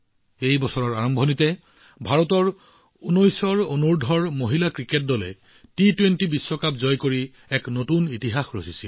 এই বছৰৰ আৰম্ভণিতে ভাৰতৰ অনুৰ্ধ১৯ মহিলা ক্ৰিকেট দলে টি২০ বিশ্বকাপ জিকি ইতিহাস সৃষ্টি কৰিছিল